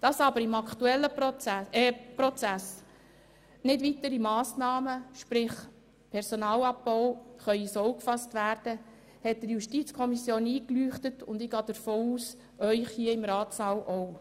Dass aber im aktuellen Prozess keine weiteren Massnahmen – sprich kein Personalabbau – ins Auge gefasst werden können, hat der JuKo eingeleuchtet, und ich gehe davon aus, Ihnen hier im Ratssaal auch.